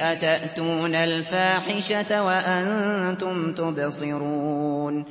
أَتَأْتُونَ الْفَاحِشَةَ وَأَنتُمْ تُبْصِرُونَ